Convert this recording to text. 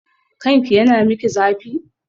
Kanki yana miki zafi?